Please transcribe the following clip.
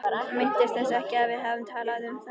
Minntist þess ekki að við hefðum talað um það.